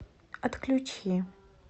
отключи